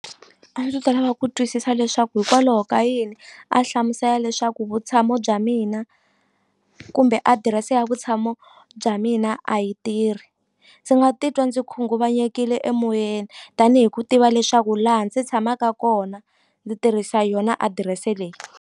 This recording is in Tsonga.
A ndzi ta lava ku twisisa leswaku hikwalaho ka yini a hlamusela leswaku vutshamo bya mina kumbe adirese ya vutshamo bya mina a yi tirhi ndzi nga titwa ndzi khunguvanyekile emoyeni tanihi ku tiva leswaku laha ndzi tshamaka kona ndzi tirhisa yona adirese leyi.